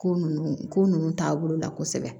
Ko nunnu ko nunnu taabolo la kosɛbɛ